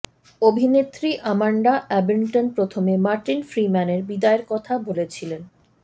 অভিনেত্রী Amanda Abbington প্রথমে Martin ফ্রিম্যানের বিদায়ের কথা বলেছিলেন